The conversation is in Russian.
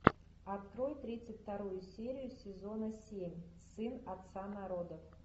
открой тридцать вторую серию сезона семь сын отца народов